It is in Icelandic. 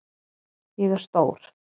Ég er stór.